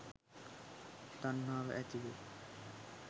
තණ්හාව ඇති වෙයි